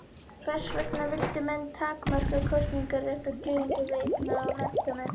Hvers vegna vildu menn takmarka kosningarétt og kjörgengi við eigna- og menntamenn?